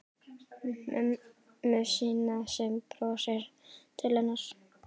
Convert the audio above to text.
Mömmu sína sem brosir til hennar.